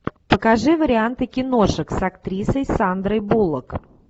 покажи варианты киношек с актрисой сандрой буллок